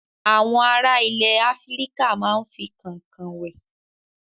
Àwọn ará ilẹ̀ Áfíríkà máa ń fi kànkàn wẹ̀.